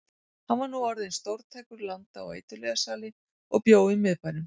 Hann var nú orðinn stórtækur landa- og eiturlyfjasali og bjó í miðbænum.